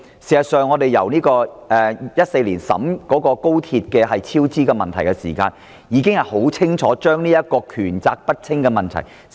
事實上，在2014年有關高鐵超支問題的報告中已清楚指出港鐵公司權責不清的問題。